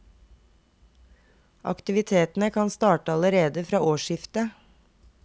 Aktivitetene kan starte allerede fra årsskiftet.